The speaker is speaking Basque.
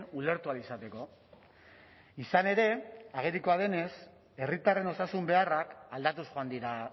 ulertu ahal izateko izan ere agerikoa denez herritarren osasun beharrak aldatuz joan dira